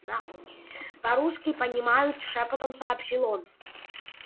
нахуй по русски понимают шёпотом сообщил он